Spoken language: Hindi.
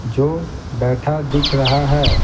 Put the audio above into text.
जो बैठा दिख रहा है।